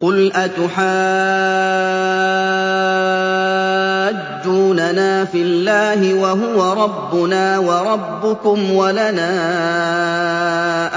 قُلْ أَتُحَاجُّونَنَا فِي اللَّهِ وَهُوَ رَبُّنَا وَرَبُّكُمْ وَلَنَا